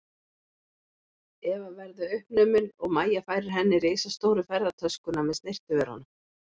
Eva verðu uppnumin og Mæja færir henni risastóru ferðatöskuna með snyrtivörunum.